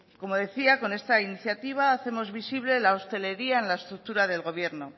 como decía con esta iniciativa hacemos visible la hostelería en la estructura del gobierno